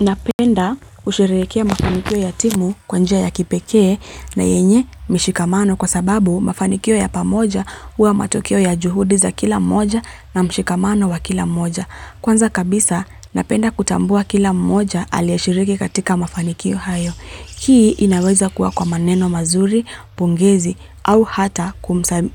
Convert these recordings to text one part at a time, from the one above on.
Napenda kusherehekea mafanikio ya timu kwa njia ya kipekee na yenye mishikamano kwa sababu mafanikio ya pamoja huwa matokeo ya juhudi za kila mmoja na mshikamano wa kila mmoja. Kwanza kabisa, napenda kutambua kila moja aliye shiriki katika mafanikio hayo. Hii inaweza kuwa kwa maneno mazuri, pongezi au hata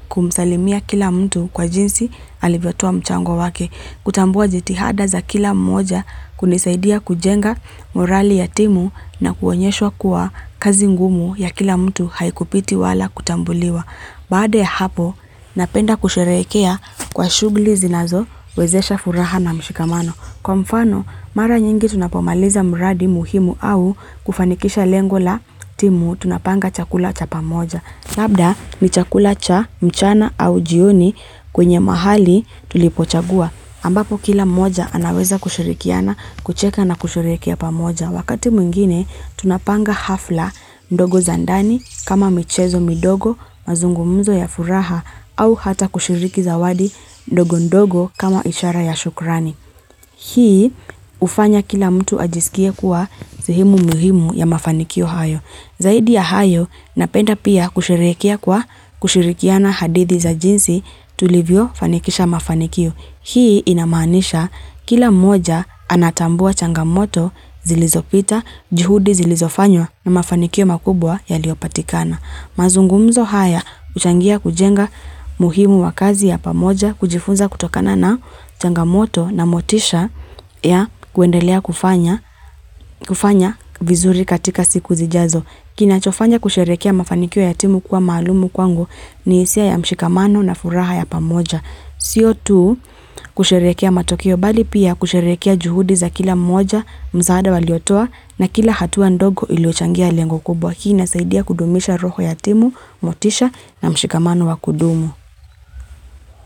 kumsalimia kila mtu kwa jinsi alivyotoa mchango wake. Kutambua jitihada za kila mmoja hunisaidia kujenga morali ya timu na kuonyeshwa kuwa kazi ngumu ya kila mtu haikupiti wala kutambuliwa. Baada ya hapo, napenda kusherekea kwa shughuli zinazowezesha furaha na mshikamano. Kwa mfano, mara nyingi tunapomaliza mradi muhimu au kufanikisha lengo la timu tunapanga chakula cha pamoja. Labda ni chakula cha mchana au jioni kwenye mahali tulipochagua. Ambapo kila moja anaweza kushirikiana kucheka na kusherehekea pamoja. Wakati mwingine tunapanga hafla ndogo za ndani kama michezo midogo mazungumzo ya furaha au hata kushiriki zawadi ndogo ndogo kama ishara ya shukrani. Hii hufanya kila mtu ajisikie kuwa sehemu muhimu ya mafanikio hayo. Zaidi ya hayo napenda pia kusherekea kwa kushirikiana hadithi za jinsi tulivyo fanikisha mafanikio. Hii inamanisha kila moja anatambua changamoto zilizopita, juhudi zilizofanywa na mafanikio makubwa yaliopatikana. Mazungumzo haya, huchangia kujenga muhimu wa kazi ya pamoja, kujifunza kutokana na changamoto na motisha ya kuendelea kufanya vizuri katika siku zijazo. Kinachofanya kusherekea mafanikio ya timu kwa malumu kwangu ni hisia ya mshikamano na furaha ya pamoja. Sio tu kusherekea matokeo bali pia kusherekea juhudi za kila mmoja msaada waliotua na kila hatua ndogo iliyochangia lengo kubwa hii inasaidia kudumisha roho ya timu, motisha na mshikamano wa kudumu.